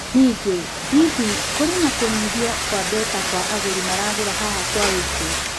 Ningĩ, hihi, kũrĩ na kũnyihio kwa mbeca kwa agũri maragũra haha kwa wĩingĩ?